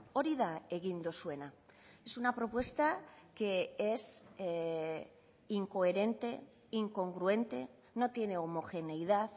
hori da egin duzuena es una propuesta que es incoherente incongruente no tiene homogeneidad